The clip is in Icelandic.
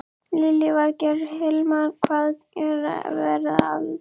Lillý Valgerður: Hilmar, hvað er verið að elda?